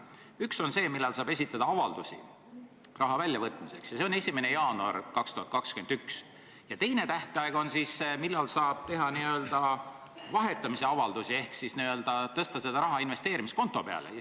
Üks on see, millal saab esitada avaldusi raha väljavõtmiseks – see on 1. jaanuar 2021 –, ja teine tähtaeg on, millal saab esitada n-ö vahetamise avaldusi ehk siis paluda tõsta see raha investeerimiskonto peale.